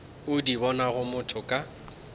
o di bonego motho ka